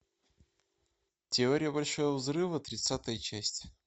теория большого взрыва тридцатая часть